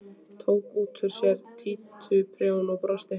Tók út úr sér títuprjón og brosti.